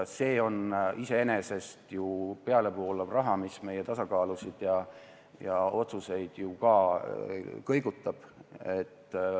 See on iseenesest pealevoolav raha, mis meie tasakaalu ja otsuseid ka kõigutab.